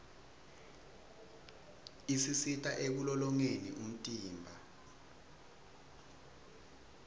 isisita ekulolongeni umtimba